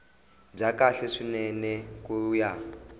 bya kahle swinene ku ya